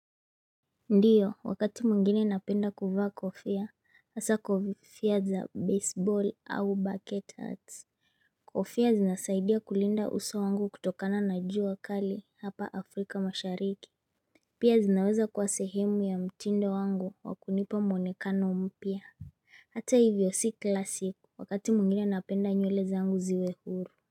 Ndiyo wakati mwingine napenda kuvaa kofia hasaa kofia za baseball au bucket hats. Kofia zinasaidia kulinda uso wangu kutokana na jua kali hapa Afrika mashariki Pia zinaweza kuwa sehemu ya mtindo wangu wa kunipa muonekano mpya Hata hivyo si kila siku, wakati mwingine napenda nywele zangu ziwe huru.